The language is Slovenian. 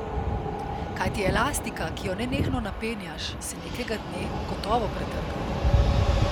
Kajti elastika, ki jo nenehno napenjaš, se nekega dne gotovo pretrga.